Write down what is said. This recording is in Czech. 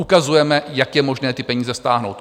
Ukazujeme, jak je možné ty peníze stáhnout.